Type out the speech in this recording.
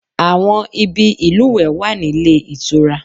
Àwọn ibi ìlùwẹ̀ wà nílé ìtura